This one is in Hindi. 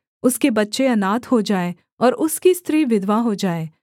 उसके बच्चे अनाथ हो जाएँ और उसकी स्त्री विधवा हो जाए